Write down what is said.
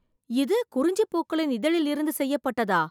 இது குறிஞ்சி பூக்களின் இதழிலிருந்து செய்யப்பட்டதா?